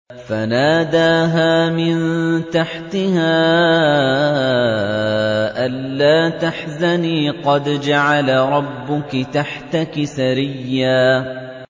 فَنَادَاهَا مِن تَحْتِهَا أَلَّا تَحْزَنِي قَدْ جَعَلَ رَبُّكِ تَحْتَكِ سَرِيًّا